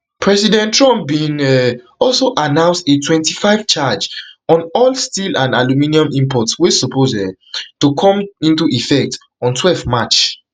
president trump bin um also announce a twenty-five charge on all steel and aluminium imports wey suppose um to come into effect on twelve march